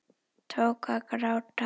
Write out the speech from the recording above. Tók að gráta.